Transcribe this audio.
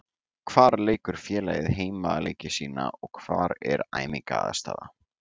Hvar leikur félagið heimaleiki sína og hvar er æfingaaðstaða?